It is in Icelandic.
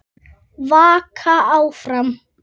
Vaka áfram.